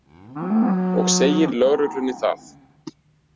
Og segir lögreglunni það.